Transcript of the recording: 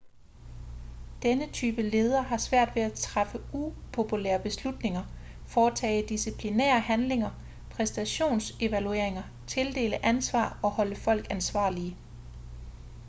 denne type leder har svært ved at træffe upopulære beslutninger foretage disciplinære handlinger præstationsevalueringer tildele ansvar og holde folk ansvarlige